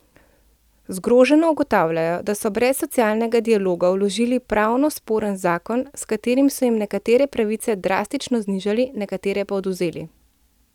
Zgroženo ugotavljajo, da so brez socialnega dialoga vložili pravno sporen zakon, s katerim so jim nekatere pravice drastično znižali, nekatere pa odvzeli.